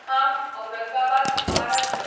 Kham Aurangabad Maharashtra